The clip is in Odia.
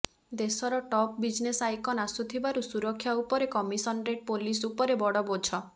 ଦେଶର ଟପ୍ ବିଜନେସ ଆଇକନ ଆସୁଥିବାରୁ ସୁରକ୍ଷା ଉପରେ କମିଶନରେଟ ପୋଲିସ ଉପରେ ବଡ଼ ବୋଝ